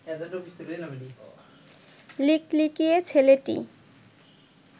লিকলিকে ছেলেটি